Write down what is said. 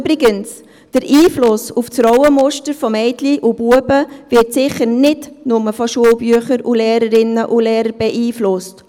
Übrigens wird der Einfluss auf die Rollenmuster von Mädchen und Knaben sicher nicht nur durch Schulbücher und Lehrerinnen und Lehrer beeinflusst.